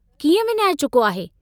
कीअं विञाए चुको आहे?